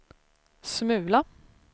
smula